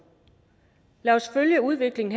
lad os følge udviklingen